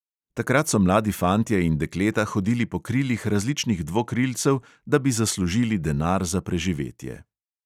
Takrat so mladi fantje in dekleta hodili po krilih različnih dvokrilcev, da bi zaslužili denar za preživetje.